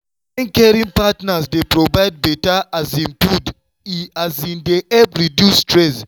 wen caring partners dey provide better um food e um dey help reduce stress.